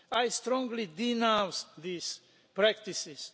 I strongly denounce these practices.